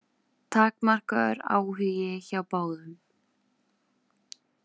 Takmarkaður áhugi hjá báðum.